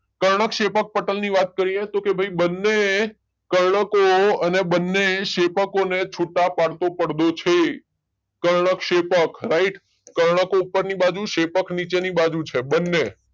કર્ણકશેપકપટલ ની વાત કરીએ તો ભાઈ બંને કર્ણકો અને બંને શેપકો ને છુટા પાડતો પડદો છે. કર્ણકશેપક રાઈટ કર્ણકો ઉપરની બાજુ શેપકો નીચેની બાજુ છે બંને